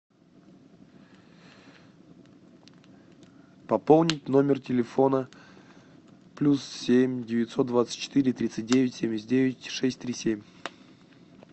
пополнить номер телефона плюс семь девятьсот двадцать четыре тридцать девять семьдесят девять шесть три семь